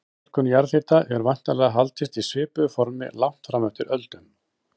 Notkun jarðhita hefur væntanlega haldist í svipuðu formi langt fram eftir öldum.